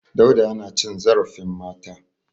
Dauda yana cin zarfin mata.